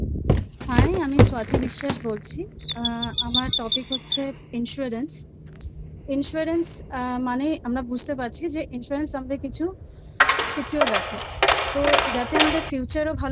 Hi আমি স্বতী বিশ্বাস বলছি আ আমার Topic হচ্ছে Insurance Insurance আ মানে আমরা বুঝতে পারছি যে Insurance আমাদের কিছু Secure রাখা তো যাতে আমাদের Future ও ভালো